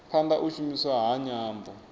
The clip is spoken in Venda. phanda u shumiswa ha nyambo